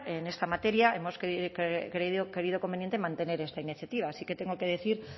en esta materia hemos creído conveniente mantener esta iniciativa así que tengo que decir